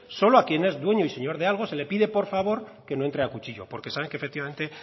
solo a quien es dueño y señor de algo se le pide por favor que no entre a cuchillo porque saben que efectivamente